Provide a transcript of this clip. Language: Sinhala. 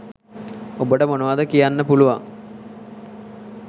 ඔබට මොනවද කියන්න පුළුවන්?